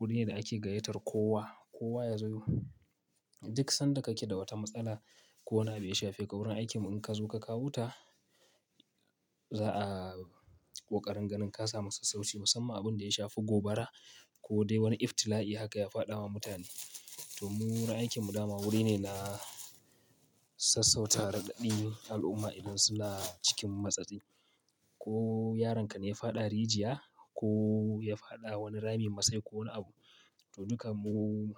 wuri ne da ake gayyatar kowa, kowa ya zo. Duk sanda kake da wata matsala ko wani abu ya shafe ka wurin aikinmu in ka zo ka kawo ta za'a ko ƙarar ganin ka sa masa sassauci musamman abunda ya shafi gobara ko dai wani iftila I haka ya faɗa wa mutane. Toh mu wurin aikinmu dama wuri ne na sassauta raɗaɗin al'umma idan suna cikin matsatsin. Ko yaronka ne ya faɗa rijiya ko ya faɗa wani ramin masai ko wani abu. To duka mu